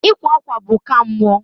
Ịkwa akwa bụ nka mụọ.